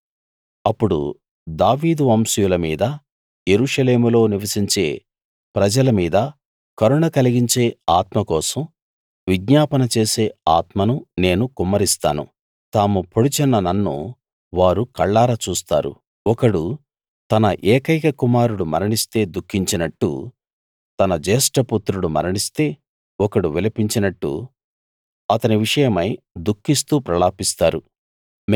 అప్పుడు దావీదు వంశీయుల మీదా యెరూషలేములో నివసించే ప్రజల మీదా కరుణ కలిగించే ఆత్మ కోసం విజ్ఞాపన చేసే ఆత్మను నేను కుమ్మరిస్తాను తాము పొడిచిన నన్ను వారు కళ్లారా చూస్తారు ఒకడు తన ఏకైక కుమారుడు మరణిస్తే దుఃఖించినట్టు తన జ్యేష్ఠపుత్రుడు మరణిస్తే ఒకడు విలపించినట్టు అతని విషయమై దుఃఖిస్తూ ప్రలాపిస్తారు